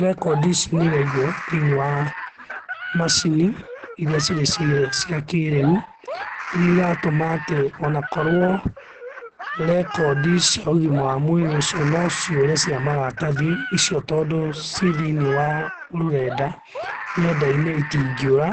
Rekondi ici nĩiraigwo thĩiniĩ wa macini irĩa cire cia kĩrĩũ, irĩa iratũma atĩ onakorwo rekondi cia ũgima wa mwĩrĩ ũcio no ciũre cia maratathi icio tondũ ci thĩiniĩ wa rũrenda, nenda-inĩ itingĩũra